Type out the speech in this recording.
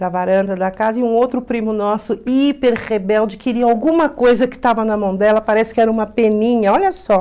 da varanda da casa, e um outro primo nosso, hiper rebelde, queria alguma coisa que estava na mão dela, parece que era uma peninha, olha só.